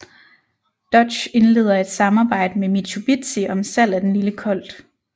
Dodge indleder et samarbejde med Mitsubishi om salg af den lille Colt